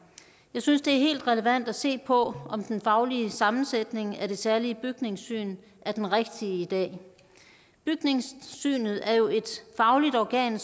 synes det er helt relevant at se på om den faglige sammensætning af det særlige bygningssyn er den rigtige i dag bygningssynet er jo et fagligt organ